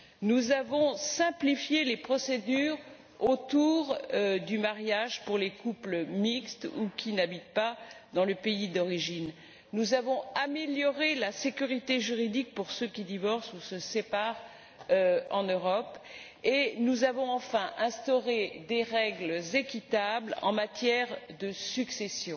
Nous avons simplifié les procédures de mariage pour les couples mixtes ou qui n'habitent pas dans le pays d'origine. Nous avons amélioré la sécurité juridique pour ceux qui divorcent ou se séparent en Europe et, enfin, nous avons instauré des règles équitables en matière de succession.